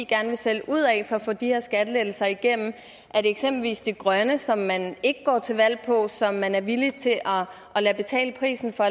gerne vil sælge ud af for at få de her skattelettelser igennem er det eksempelvis det grønne som man ikke går til valg på som man er villig til at lade betale prisen for